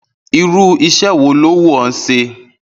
Irú is̩é̩ wo ló wù ó̩ s̩e?